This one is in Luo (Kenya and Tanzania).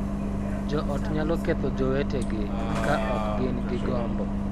Jo ot nyalo ketho jowetegi ka ok gin gi gombo,